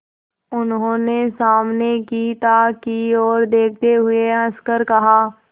उन्होंने सामने की ताक की ओर देखते हुए हंसकर कहा